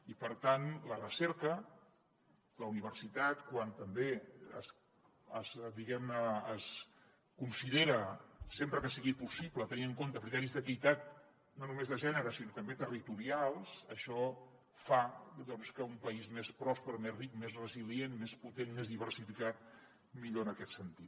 i per tant la recerca la universitat quan també diguem ne es considera sempre que sigui possible tenint en compte criteris d’equitat no només de gènere sinó també territorials doncs fa un país més pròsper més ric més resilient més potent més diversificat millor en aquest sentit